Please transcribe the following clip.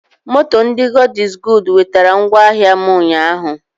Moto ndị God iz goodu wetera ngwa ahịa m ụnyaahụ